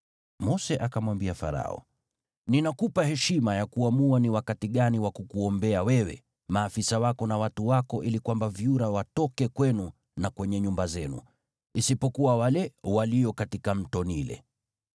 Mose akamwambia Farao, “Ninakupa heshima ya kuamua ni wakati gani wa kukuombea wewe, maafisa wako na watu wako ili kwamba vyura watoke kwenu na kwenye nyumba zenu. Isipokuwa wale walio katika Mto Naili.”